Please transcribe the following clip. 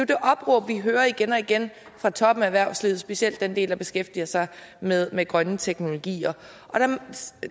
det opråb vi hører igen og igen fra toppen af erhvervslivet specielt fra den del der beskæftiger sig med med grønne teknologier